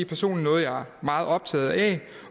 personligt er meget optaget af